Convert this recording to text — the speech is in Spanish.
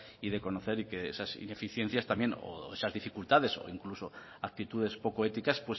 y de conocer y de que esas ineficiencias también o esas dificultades o incluso actitudes poco éticas